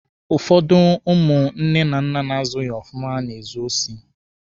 Ụfọdụ ụmụ nne na nna na-azụghi ofụma na-ezu osi.